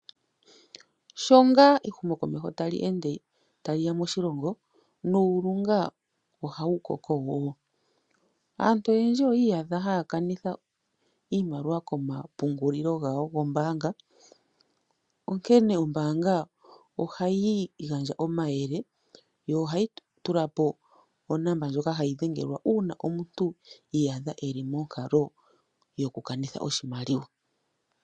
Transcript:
Sho ngaa ehumokomeho tali ende taliya moshilongo, nuulunga ohaeu koko wo. Aantu oyendji oyi iyadha haya kanitha iimaliwa komapungulilo gombaanga. Onkene ombaanga ohayi gandja omayele, yo ohayi tulapo onomola ndjoka hayi dhengelwa, uuna imuntu a iyadha eli monkalo yokukanitha oshimaliwa.